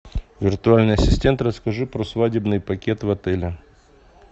виртуальный ассистент расскажи про свадебный пакет в отеле